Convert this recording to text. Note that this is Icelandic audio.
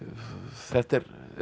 þetta er